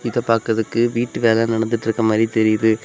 இத பாக்கதுக்கு வீட்டு வேலை நடந்துட்டுருக்க மாதிரி தெரியுது.